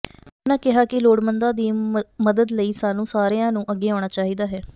ਉਨ੍ਹਾ ਕਿਹਾ ਕਿ ਲੋੜਮੰਦਾ ਦੀ ਮਦਦ ਲਈ ਸਾਨੂੰ ਸਾਰਿਆ ਨੂੰ ਅੱਗੇ ਆਉਣਾ ਚਾਹੀਦਾ ਹੈ